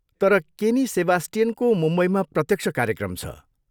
तर केनी सेबास्टियनको मुम्बईमा प्रत्यक्ष कार्यक्रम छ।